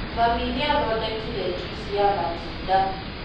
Mami nĩathodekire juici ya matunda